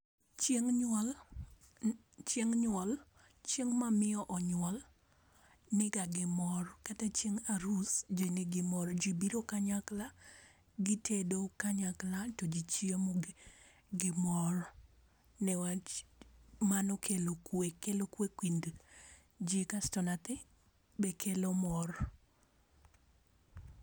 Chieng' nyuol, chieng' nyuol, chieng' ma miyo onyuol ni ga gi mor .Kata chieng' aris ji ni gi mor jo biro kanyakla gi tedo kanyakla to gi chiemo be gi mor ne wach mano kelo kwe, kelo kwe kind ji kasto nyathi be kelo mor.